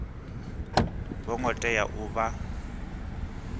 vho ngo tea u vha